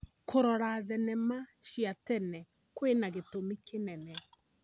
Kũrora thenema cia tene kwĩna gĩtũmi kĩnene.